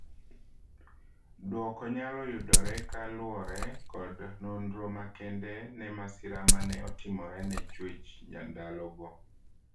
Duoko nyalo yudore ka luore kod nonro makende ne masira ma ne otimorene chwech ndalogo.